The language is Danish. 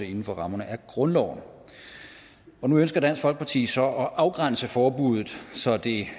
inden for rammerne af grundloven nu ønsker dansk folkeparti så at afgrænse forbuddet så det